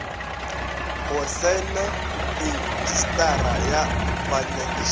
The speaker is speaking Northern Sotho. go saena retšistara ya banyakišiši